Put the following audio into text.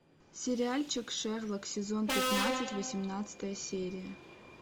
сериальчик шерлок сезон пятнадцать восемнадцатая серия